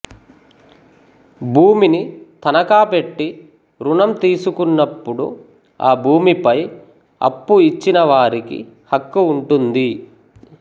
భూమిని తనఖా పెట్టి రుణం తీసుకున్నప్పుడు ఆ భూమిపై ఆప్పు ఇచ్చిన వారికి హక్కు వుంటుంది